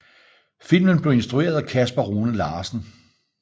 Filmen blev instrueret af Kasper Rune Larsen